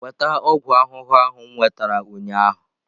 Weta ọgwụ ahụhụ ahụ m nwetara ụnyaahụ!